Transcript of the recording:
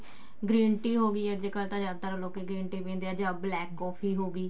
green tea ਹੋਗੀ ਅੱਜਕਲ ਤਾਂ ਜਿਆਦਾ ਲੋਕੀ green tea ਪੀਂਦੇ ਆ ਜਾਂ black coffee ਹੋਗੀ